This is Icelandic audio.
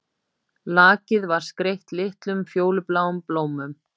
Lakið var skreytt litlum fjólubláum blómum